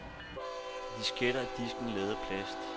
I disketter er disken lavet af plast.